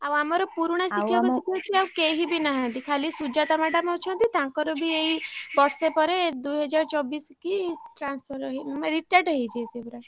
ଆଉ ଆମର ପୁରୁଣା ଶିକ୍ଷକ ଶିକ୍ଷୟତ୍ରୀ ଆଉ କେହିବି ନାହାନ୍ତି ଖାଲି ସୁଜାତା madam ଅଛନ୍ତି ତାଙ୍କର ବି ଏଇ ବର୍ଷେ ପରେ ଦୁଇହଜାରଚବିଶି କି, transfer ମାନେ retired ହେଇଯିବେ ସିଏ ପୁରା।